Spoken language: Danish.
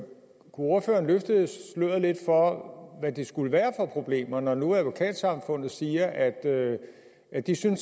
ordføreren løfte sløret lidt for hvad det skulle være for problemer når nu advokatsamfundet siger at at de sådan